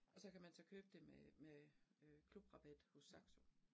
Og så kan man så købe det med med øh klubrabat hos Saxo